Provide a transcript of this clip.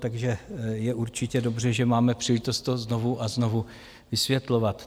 Takže je určitě dobře, že máme příležitost to znovu a znovu vysvětlovat.